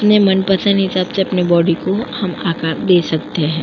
अपने मनपसंद हिसाब से अपने बॉडी को हम आकर दे सकते है।